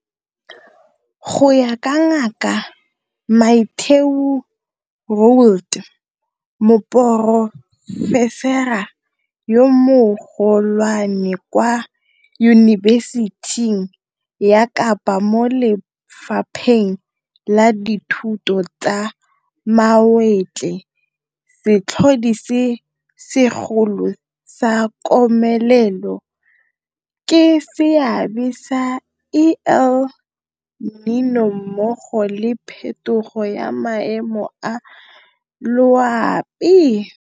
Go ya ka Ngaka Mathieu Roualt, Moporofesara yo Mogo lwane kwa Yunibesiting ya Kapa mo Lefapheng la Dithuto tsa Mawatle, setlhodi se segolo sa komelelo ke seabe sa El Niño mmogo le phetogo ya maemo a loapi.